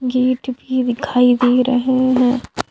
Gate भी दिखाई दे रहे है।